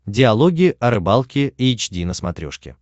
диалоги о рыбалке эйч ди на смотрешке